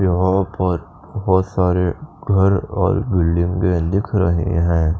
यहां पर बहोत सारे घर और बिल्डिंगे दिख रहे हैं।